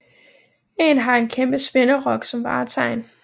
En har en kæmpe spinderok som vartegn